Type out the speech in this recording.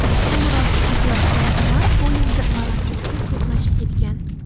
Ko‘mir ortib ketayotgan tovar poyezdi va lokomotiv to‘qnashib ketgan.